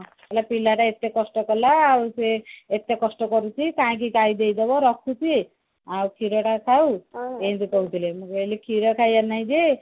କହିଲେ ପିଲାଟା ଏତେ କଷ୍ଟ କଲା ଆଉ ସେ ଏତେ କଷ୍ଟ କରିଛି କାଇଁକି ଗାଈ ଦେଇଦେବ ରଖୁ ସିଏ ଆଉ କ୍ଷୀର ତା ଖାଉ ଏମତି କହୁଥିଲେ ମୁଁ ଖାଇଲି କ୍ଷୀର ଖାଇବା ନାଇଁ ଯେ